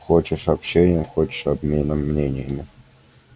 хочешь общением хочешь обменом мнениями